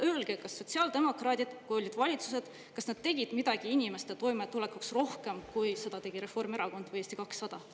Ja öelge, kas sotsiaaldemokraadid, kui olid valitsuses, kas nad tegid midagi inimeste toimetulekuks rohkem, kui seda tegi Reformierakond või Eesti 200?